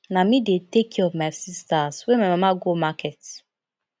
na me dey take care of my sistas wen my mama go market